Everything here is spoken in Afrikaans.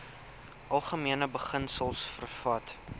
algemene beginsels vervat